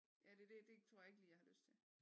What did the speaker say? Ja det er det det tror jeg ikke lige jeg har lyst til